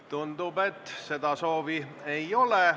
Tundub, et seda soovi ei ole.